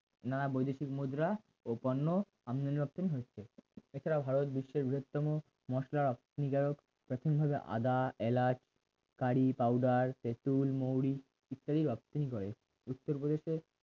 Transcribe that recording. নানা বৈদেশিক মুদ্রা ও পণ্য আমদানি রপ্তানি হয়েছে এছাড়াও ভারত বিশ্বের বৃহত্তম মসলা রপ্তানি কারক প্রাথমিকভাবে আদা এলাচ কারি powder তেতুল মৌরি ইত্যাদি রপ্তানি করে উত্তর প্রদেশ এর